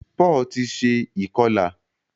Paul tí ṣe ikọla.